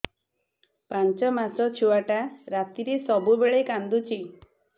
ପାଞ୍ଚ ମାସ ଛୁଆଟା ରାତିରେ ସବୁବେଳେ କାନ୍ଦୁଚି